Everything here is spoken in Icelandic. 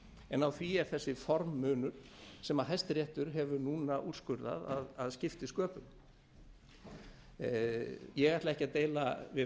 en á því er þessi forminu sem hæstiréttur hefur núna úrskurðað að skipti sköpum ég ætla ekki að deila við hæstarétt